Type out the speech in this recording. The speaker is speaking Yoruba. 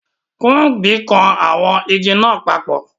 Kunbi kan awon igi naa papo